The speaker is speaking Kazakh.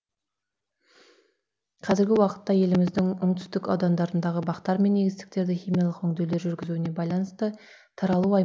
қазіргі уақытта еліміздің оңтүстік аудандарындағы бақтар мен егістіктерді химиялық өңдеулер жүргізуіне байланысты таралу